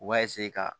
U b'a ka